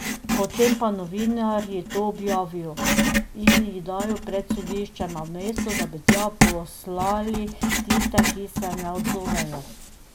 Potem pa novinarji to objavijo in jih dajo pred sodišče, namesto da bi tja poslali tiste, ki se ne odzovejo.